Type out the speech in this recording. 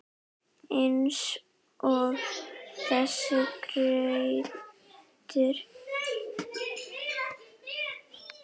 Eins og þessir gaurar!